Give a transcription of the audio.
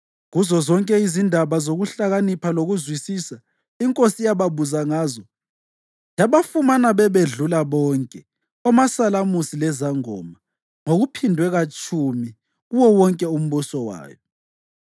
Kuzozonke izindaba zokuhlakanipha lokuzwisisa inkosi eyababuza ngazo yabafumana bebedlula bonke omasalamusi lezangoma ngokuphindwe katshumi kuwo wonke umbuso wayo.